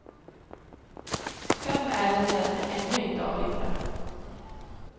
Fem ärenden är ännu inte avgjorda.